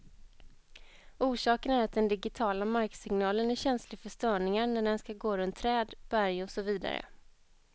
Orsaken är att den digitiala marksignalen är känslig för störningar när den skall gå runt träd, berg och så vidare.